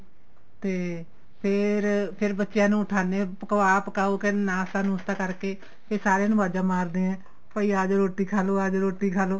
ਤੇ ਫੇਰ ਫੇਰ ਬੱਚਿਆਂ ਨੂੰ ਉਠਾਣੇ ਆ ਪਕਵਾ ਪਕਾਉ ਫੇਰ ਨਾਸ਼ਤਾ ਨੁਸ਼ਤਾ ਕਰਕੇ ਫੇਰ ਸਾਰੀਆਂ ਨੂੰ ਅਵਾਜਾ ਮਾਰਦੇ ਏ ਭਾਈ ਆਜੋ ਰੋਟੀ ਖਾਲੋ ਆਜੋ ਰੋਟੀ ਖਾਲੋ